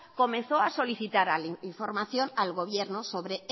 comenzó a solicitar información al gobierno sobre